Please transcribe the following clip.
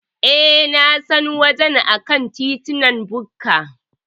E, Na san wajen a kan titin BUK.